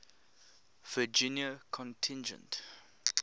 virginia contingent